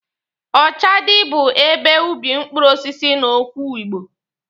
Ọchadị bụ ebe ubi mkpụrụ osisi n'okwu Igbo.